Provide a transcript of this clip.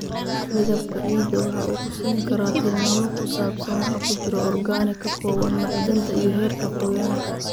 Midabka ciidda waxa uu ku siin karaa tilmaamo ku saabsan waxa ku jira organic, ka kooban macdanta, iyo heerka qoyaanka.